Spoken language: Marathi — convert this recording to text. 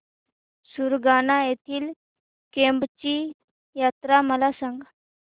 सुरगाणा येथील केम्ब ची यात्रा मला सांग